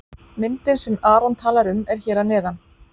Myndin sem Aron talar um er hér að neðan.